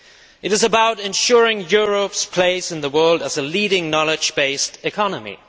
It is about ensuring Europe's place in the world as a leading knowledge based economy.